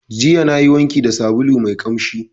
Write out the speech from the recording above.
Jiya nayi wanki da sabulu mai ƙamshi.